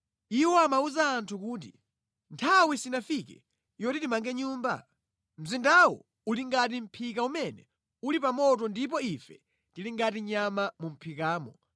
Iwo amawuza anthu kuti, ‘Nthawi sinafike yoti timange Nyumba? Mzindawu uli ngati mʼphika umene uli pa moto ndipo ife tili ngati nyama mu mʼphikamo.